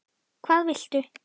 Hvað viltu?